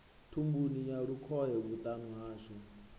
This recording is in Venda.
thumbuni ya lukhohe vhuṱama hashu